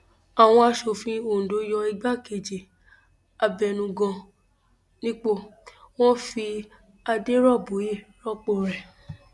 àwọn asòfin ondo yọ igbákejì abẹnugan nípò wọn fi adèróbóye rọpò rẹ